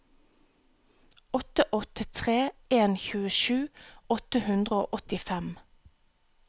åtte åtte tre en tjuesju åtte hundre og åttifem